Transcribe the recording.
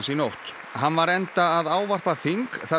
nótt hann var enda að ávarpa þing þar